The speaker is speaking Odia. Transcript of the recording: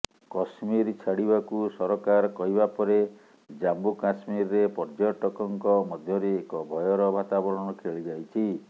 କଶ୍ମୀର ଛାଡିବାକୁ ସରକାର କହିବାପରେ ଜାମ୍ମୁ କଶ୍ମୀରରେ ପର୍ଯଟକଙ୍କ ମଧ୍ୟରେ ଏକ ଭୟର ବାତାବରଣ ଖେଳିଯାଇଛି